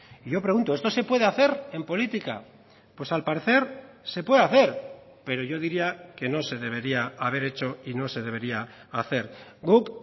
y yo pregunto esto se puede hacer en política pues al parecer se puede hacer pero yo diría que no se debería haber hecho y no se debería hacer guk